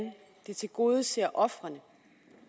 det tilgodeser ofrene